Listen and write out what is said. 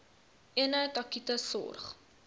eenheid akute sorg